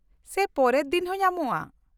-ᱥᱮ ᱯᱚᱨᱮᱨ ᱫᱤᱱ ᱦᱚᱸ ᱧᱟᱢᱚᱜᱼᱟ ?